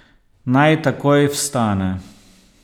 Naj takoj vstane!